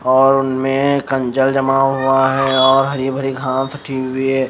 और उनमें कंजर जमा हुआ है और हरी भरी घास सटी हुई है।